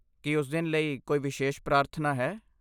ਕੀ ਉਸ ਦਿਨ ਲਈ ਕੋਈ ਵਿਸ਼ੇਸ਼ ਪ੍ਰਾਰਥਨਾ ਹੈ?